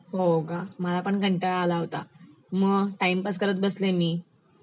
हो का, मला पण कंटाळा आला होता मग टाइमपास करत बसलेल मी